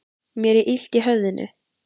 Mér er illt í höfðinu.